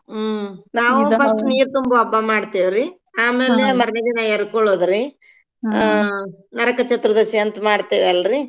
ಹ್ಮ್‌ ನಾವೂ first ನೀರ್ ತುಂಬೋ ಹಬ್ಬಾ ಮಾಡ್ತೇವ್ರೀ ಆಮೇಲೆ ಮರ್ನೆದಿನಾ ಎರ್ಕೋಳೋದ್ರೀ ಆ ನರಕಚತುರ್ದಶಿ ಅಂತ್ ಮಾಡ್ತಿವ್ವಲ್ರೀ.